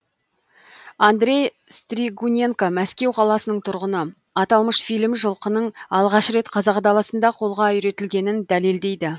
андрей стригуненко мәскеу қаласының тұрғыны аталмыш фильм жылқының алғаш рет қазақ даласында қолға үйретілгенін дәлелдейді